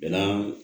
Bɛɛ n'a